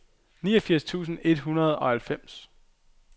niogfirs tusind et hundrede og halvfems